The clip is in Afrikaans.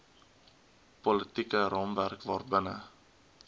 politieke raamwerk waarbinne